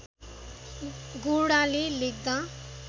गोडाले लेख्दा